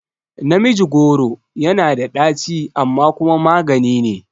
Namiji goro yana da ɗaci amma kuma maganine